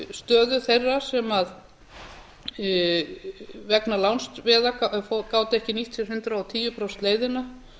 stöðu þeirra sem vegna lánsveða gátu ekki nýtt sér hundrað og tíu prósenta leiðina